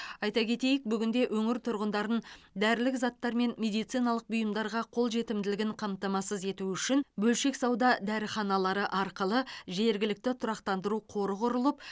айта кетейік бүгінде өңір тұрғындарын дәрілік заттармен медициналық бұйымдарға қолжетімділігін қамтамасыз ету үшін бөлшек сауда дәріханалары арқылы жергілікті тұрақтандыру қоры құрылып